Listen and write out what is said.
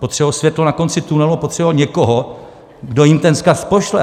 Potřebují světlo na konci tunelu, potřebují někoho, kdo jim ten vzkaz pošle.